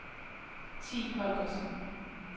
Thi Holgersen